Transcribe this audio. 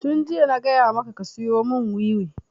Tun jiya na gaya maka ka siyo mun wiwi!